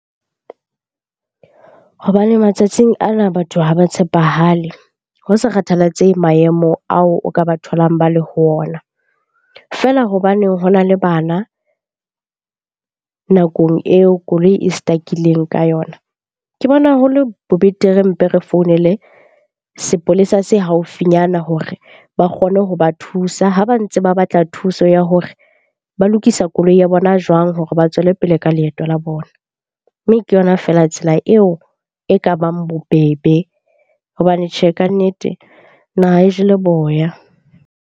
Hobane matsatsing ana batho haba tshepahale ho sa kgathalatsehe maemo ao o ka ba tholang ba le ho ona. Feela hobaneng hona le bana nakong eo koloi e stuck-ileng ka yona. Ke bona haholo ho le bo betere mpe re founele sepolesa se haufinyana hore ba kgone ho ba thusa ha ba ntse ba batla thuso ya ho hore ba lokisa koloi ya bona jwang?hore ba tswele pele ka leeto la bona. Mme ke yona feela tsela eo e ka bang bobebe hobane tjhe, kannete naha e jele boya.